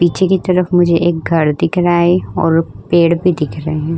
पीछे की तरफ मुझे एक घर दिख रहा है और पेड़ भी दिख रहे हैं।